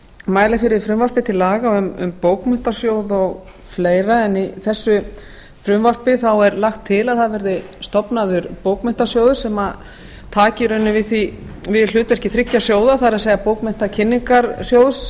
mæli fyrir frumvarpi til laga um bókmenntasjóð og fleira en í þessu frumvarpi er lagt til að það verði stofnaður bókmenntasjóður sem taki í rauninni við hlutverki þriggja sjóða það er bókmenntakynningarsjóðs